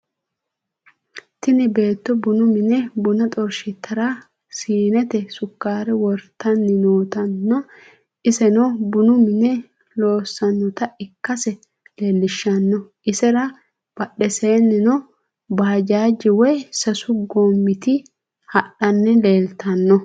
Tini beetto bunu mine buna xorshitara siinnete sukkare wortanni nootanna iseno bunu mine loossannota ikkase leellishshanno. isera badhesinnino baajaaje woy sasu goommit hadhanni leeltanno.